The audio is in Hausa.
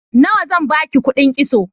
Nawa zan ba ki kuɗin kitso?